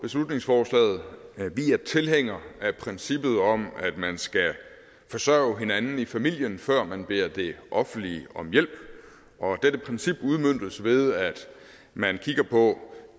beslutningsforslaget vi er tilhængere af princippet om at man skal forsørge hinanden i familien før man beder det offentlige om hjælp dette princip udmøntes ved at man kigger på